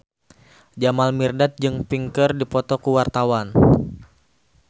Jamal Mirdad jeung Pink keur dipoto ku wartawan